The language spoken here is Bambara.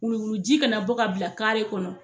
Wuluwuluji ka na bɔ ka bila kɔnɔ